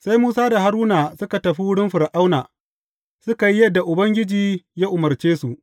Sai Musa da Haruna suka tafi wurin Fir’auna, suka yi yadda Ubangiji ya umarce su.